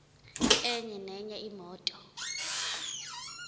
enye nenye imoto